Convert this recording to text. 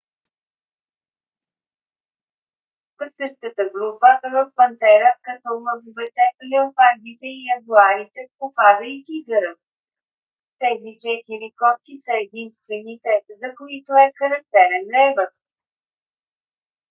в същата група род пантера като лъвовете леопардите и ягуарите попада и тигърът. тези четири котки са единствените за които е характерен ревът